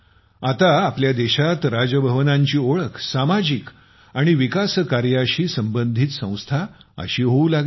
आता आपल्या देशात राजभवनांची ओळख सामाजिक आणि विकास कार्यांशी संबंधित संस्था अशी होऊ लागली आहे